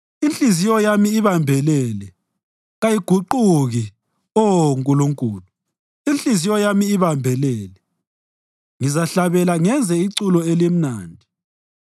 Inhliziyo yami ibambelele, kayiguquki Oh Nkulunkulu, inhliziyo yami ibambelele; ngizahlabela ngenze iculo elimnandi.